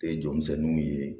E jɔmisɛnninw ye